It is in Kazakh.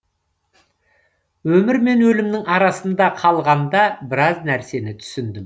өмір мен өлімнің арасында қалғанда біраз нәрсені түсіндім